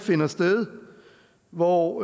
hvor